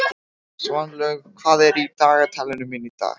Svanlaug, hvað er í dagatalinu mínu í dag?